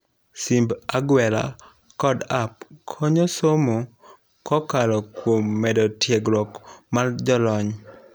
Simb agwela kod app konyo somo kokalo kuom medo tiegruok mar jolony.